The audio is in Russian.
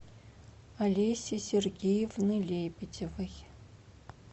алеси сергеевны лебедевой